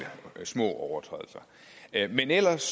små overtrædelser men ellers